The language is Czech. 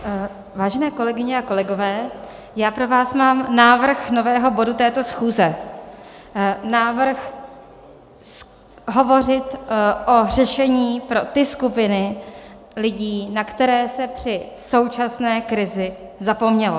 Vážené kolegyně a kolegové, já pro vás mám návrh nového bodu této schůze, návrh hovořit o řešení pro ty skupiny lidí, na které se při současné krizi zapomnělo.